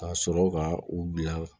Ka sɔrɔ ka u bila